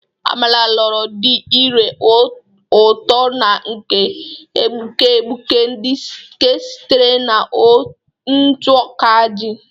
Amala, loro dị ire ụtọ na nke na-egbuke egbuke nke sitere na ntụ ọka ji.